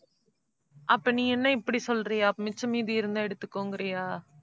அப்ப நீ என்ன இப்படி சொல்றியா? மிச்ச மீதி இருந்தா எடுத்துக்கோங்கறியா?